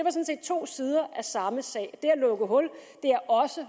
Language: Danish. to sider af samme sag det at lukke hul er også